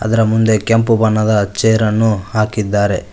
ಅದರ ಮುಂದೆ ಕೆಂಪು ಬಣ್ಣದ ಚೇರನ್ನು ಹಾಕಿದ್ದಾರೆ.